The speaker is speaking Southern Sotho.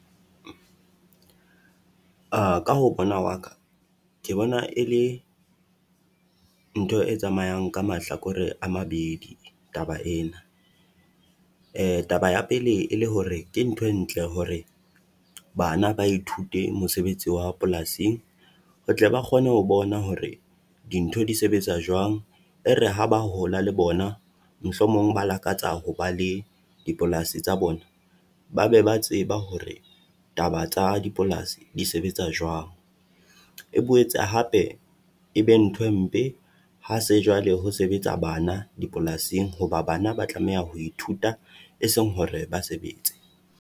A ka ho bona wa ka, ke bona e le ntho e tsamayang ka mahlakore a mabedi taba ena. Taba ya pele e le hore ke ntho e ntle hore bana ba ithute mosebetsi wa polasing, ho tle ba kgone ho bona hore dintho di sebetsa jwang. E re ha ba hola le bona, mohlomong ba lakatsa ho ba le dipolasi tsa bona, ba be ba tseba hore taba tsa dipolasi di sebetsa jwang. E boetse hape e be ntho empe ha se jwale ho sebetsa bana dipolasing, hoba bana ba tlameha ho ithuta, eseng hore ba sebetse.